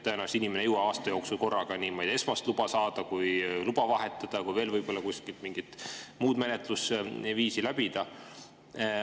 Tõenäoliselt inimene ei jõua aasta jooksul esmast luba saada, luba vahetada ja veel mingit menetlusviisi läbida.